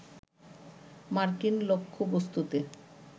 মার্কিন লক্ষ্যবস্তুতে